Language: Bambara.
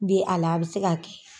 bi hala a bɛ se ka kɛ.